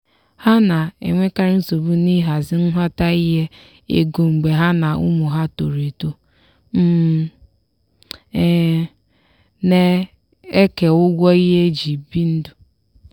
ha na-enwekarị nsogbu n'ịhazi nghọtahie ego mgbe ha na ụmụ ha toro eto um na-eke ụgwọ ihe eji ebi ndụ.